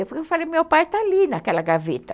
Eu falei, meu pai está ali naquela gaveta.